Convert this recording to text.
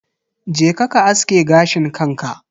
Je ka ka aske gashin kanka.